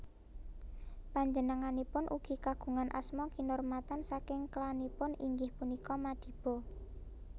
Panjenenganipun ugi kagungan asma kinurmatan saking klanipun inggih punika Madiba